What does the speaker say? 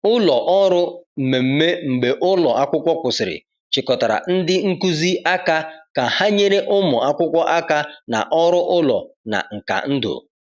Ụlọ ọrụ mmemme mgbe ụlọ akwụkwọ kwụsịrị chịkọtara ndị nkuzi aka ka ha nyere ụmụ akwụkwọ aka na ọrụ ụlọ na nka ndụ.